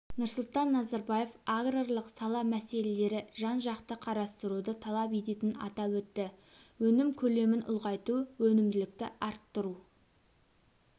нұрсұлтан назарбаев аграрлық сала мәселелері жан-жақты қарастыруды талап ететінін атап өтті өнім көлемін ұлғайту өнімділікті арттыру